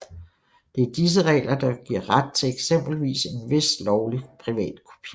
Det er disse regler der giver ret til eksempelvis en vis lovlig privatkopiering